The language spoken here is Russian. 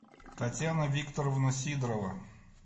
татьяна викторовна сидорова